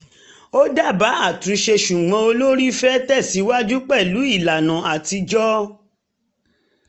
ó dábàá àtúnṣe ṣùgbọ́n olórí fẹ́ tẹ̀síwájú pẹ̀lú ìlànà atijọ́